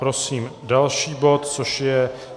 Prosím další bod, což je